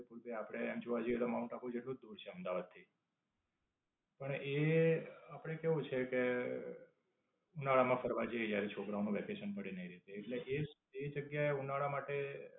અમુક રીતે આપડે એમ જોવા જઇયે તો માઉન્ટ આબુ જેટલું જ દૂર છે અમદાવાદ થી. પણ એ, આપણે કેવું છે કે, ઉનાળા માં ફરવા જઇયે જયારે છોકરાઓના વેકેશન પડે. એટલે એ એ જગ્યા એ ઉનાળા માટે